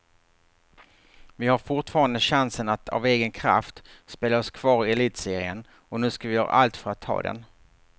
Vi har fortfarande chansen att av egen kraft spela oss kvar i elitserien och nu ska vi göra allt för att ta den.